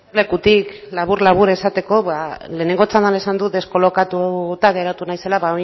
lekutik labur labur esateko ba lehenengo txandan esan dut deskolokatuta geratu naizela